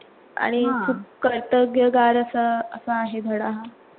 आणि खूप कर्तव्यगार असं असा आहे धडा हा